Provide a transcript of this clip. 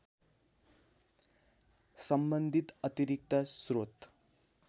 सम्बन्धित अतिरिक्त स्रोत